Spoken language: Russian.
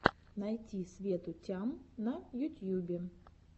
найти свету тям на ютьюбе